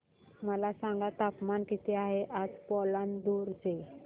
मला सांगा तापमान किती आहे आज पालांदूर चे